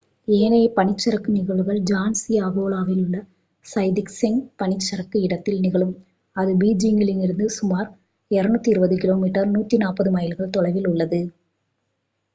ஏனைய பனிச்சறுக்கு நிகழ்வுகள் ஜான்சிஅகோவிலுள்ள தைசிச்செங் பனிச்சறுக்கு இடத்தில் நிகழும். அது பீஜிங்கில் இருந்து சுமார் 220 கிலோமீட்டர் 140 மைல்கள் தொலைவில் உள்ளது